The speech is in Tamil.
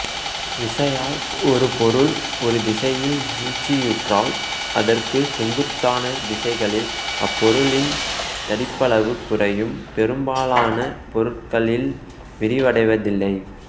விசையால் ஒரு பொருள் ஒரு திசையில் நீட்சியுற்றால் அதற்குச் செங்குத்தான திசைகளில் அப்பொருளின் தடிப்பளவு குறையும் பெரும்பாலான பொருள்களில் விரிவடைவதில்லை